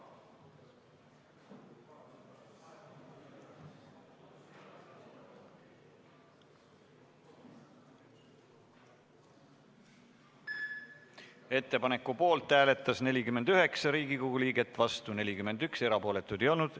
Hääletustulemused Ettepaneku poolt hääletas 49 Riigikogu liiget, vastu oli 41 ja erapooletuid ei olnud.